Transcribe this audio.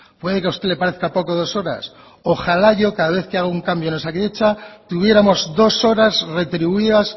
puede que a usted le parezca poco dos horas ojalá yo cada vez que haga un cambio en osakidetza tuviéramos dos horas retribuidas